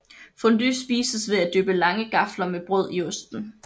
Fondue spises ved at dyppe lange gafler med brød i osten